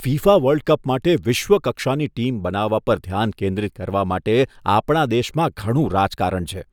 FIFA world cup માટે વિશ્વ કક્ષાની ટીમ બનાવવા પર ધ્યાન કેન્દ્રિત કરવા માટે આપણા દેશમાં ઘણું રાજકારણ છે.